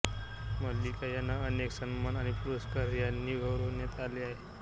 मल्लिका यांना अनेक सन्मान आणि पुरस्कार यांनी गौरविण्यात आले आहे